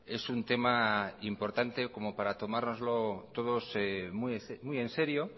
es un tema importante como para tomárnoslo todos muy en serio